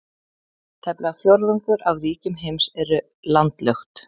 Tæplega fjórðungur af ríkjum heims eru landlukt.